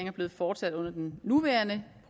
er blevet fortsat under den nuværende